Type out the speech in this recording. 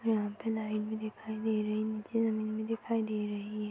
यहाँ लाइट भी दिखाई दे रही है नीचे जमीन भी दिखाई दे रही है।